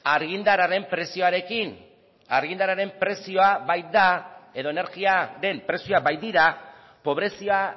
argindarraren prezioarekin argiaren prezioa baita edo energia den prezioa baitira pobrezia